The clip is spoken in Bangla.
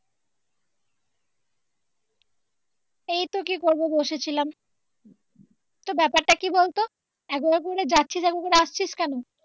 এইতো কি করবো বসে ছিলাম তোর ব্যাপারটা কি বলতো একবার একবার করে যাচ্ছিস একবার করে আসছিস কেনো?